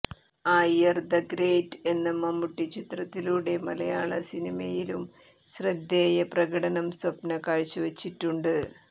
Iyer the great എന്ന മമ്മൂട്ടി ചിത്രത്തിലൂടെ മലയാള സിനിമയിലും ശ്രദ്ധേയ പ്രകടനം സ്വപ്ന കാഴ്ചവച്ചിട്ടുണ്ട്